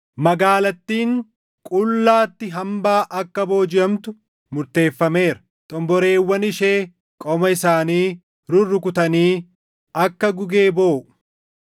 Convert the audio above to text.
Magaalattiin qullaatti hambaa akka boojiʼamtu murteeffameera. Xomboreewwan ishee qoma isaanii rurrukutanii akka gugee booʼu.